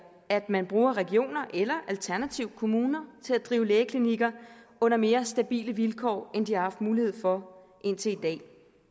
at man bruger regioner eller alternativt kommuner til at drive lægeklinikker under mere stabile vilkår end de har haft mulighed for indtil i dag